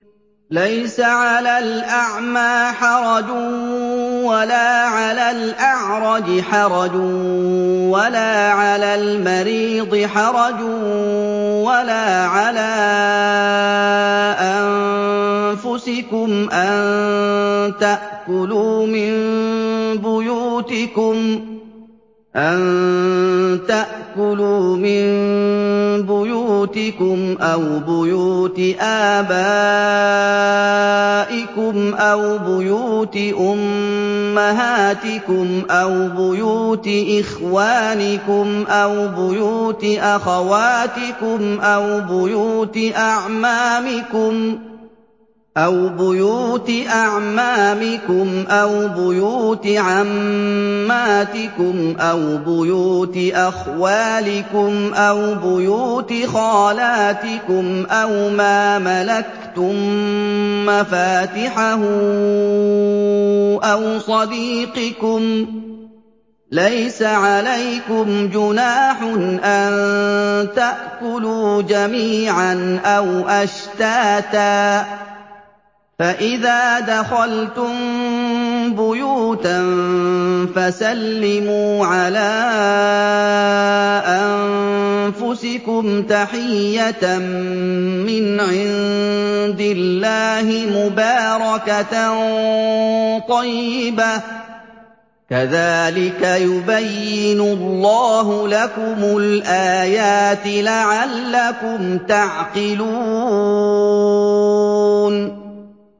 لَّيْسَ عَلَى الْأَعْمَىٰ حَرَجٌ وَلَا عَلَى الْأَعْرَجِ حَرَجٌ وَلَا عَلَى الْمَرِيضِ حَرَجٌ وَلَا عَلَىٰ أَنفُسِكُمْ أَن تَأْكُلُوا مِن بُيُوتِكُمْ أَوْ بُيُوتِ آبَائِكُمْ أَوْ بُيُوتِ أُمَّهَاتِكُمْ أَوْ بُيُوتِ إِخْوَانِكُمْ أَوْ بُيُوتِ أَخَوَاتِكُمْ أَوْ بُيُوتِ أَعْمَامِكُمْ أَوْ بُيُوتِ عَمَّاتِكُمْ أَوْ بُيُوتِ أَخْوَالِكُمْ أَوْ بُيُوتِ خَالَاتِكُمْ أَوْ مَا مَلَكْتُم مَّفَاتِحَهُ أَوْ صَدِيقِكُمْ ۚ لَيْسَ عَلَيْكُمْ جُنَاحٌ أَن تَأْكُلُوا جَمِيعًا أَوْ أَشْتَاتًا ۚ فَإِذَا دَخَلْتُم بُيُوتًا فَسَلِّمُوا عَلَىٰ أَنفُسِكُمْ تَحِيَّةً مِّنْ عِندِ اللَّهِ مُبَارَكَةً طَيِّبَةً ۚ كَذَٰلِكَ يُبَيِّنُ اللَّهُ لَكُمُ الْآيَاتِ لَعَلَّكُمْ تَعْقِلُونَ